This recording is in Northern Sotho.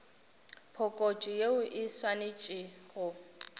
phokotšo yeo e swanetše go